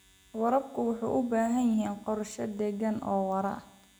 Waraabka wuxuu u baahan yahay qorshe deegaan oo waara.